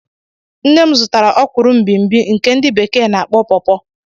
Nne m zụtara okwuru mgbimgbi nke ndi bekee n'akpọ pawpaw